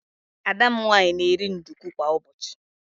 Ada m nwaanyị na-eri nduku kwa ụbọchị.